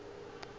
be ke sa kgone go